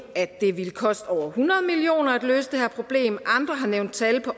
at det ville koste over hundrede million kroner at løse det her problem andre har nævnt tal på